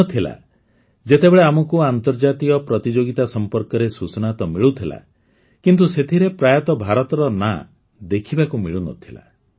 ଦିନ ଥିଲା ଯେତେବେଳେ ଆମକୁ ଆର୍ନ୍ତଜାତିକ ପ୍ରତିଯୋଗିତା ସମ୍ପର୍କରେ ସୂଚନା ତ ମିଳୁଥିଲା କିନ୍ତୁ ସେଥିରେ ପ୍ରାୟତଃ ଭାରତର ନାଁ ଦେଖିବାକୁ ମିଳୁନଥିଲା